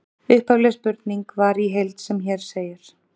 Upphafleg spurning var í heild sem hér segir: